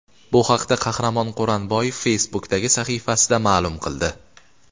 Bu haqda Qahramon Quronboyev Facebook’dagi sahifasida ma’lum qildi .